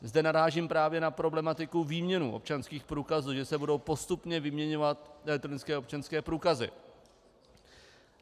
Zde narážím právě na problematiku výměny občanských průkazů, že se budou postupně vyměňovat elektronické občanské průkazy.